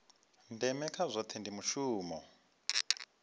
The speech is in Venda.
ndeme kha zwohe ndi mushumo